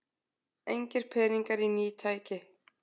Engir peningar í ný tæki